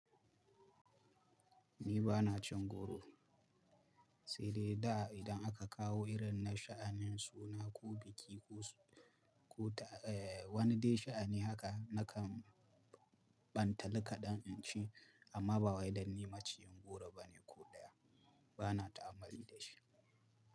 Ni ba na cin goro. Sai dai da idan aka kawo irin na sha'anin suna ko biki ko, ko ta, wani dai sha'ani haka, na kan bantali kadan in ci. Amma ba wai dan ni maciyin goro bane ko ɗaya. Ba na ta'ammali da shi.